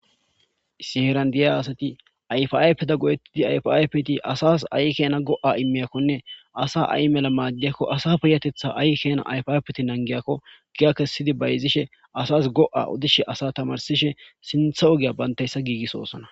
Siherandiyay aasati ayfaypeta godettidi ayfaypeti asas ay kena go'a immiyakkonne asa ayi mela maaddiyakko asa piyatetha ay kena ayfaypeti nangiyakko giya kessidi bayzishe asas go'a odishe asa tamarsishe sintha ogiya bantayssa giigis oosona